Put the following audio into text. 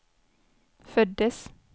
föddes